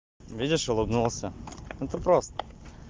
видишь улыбнулся это прост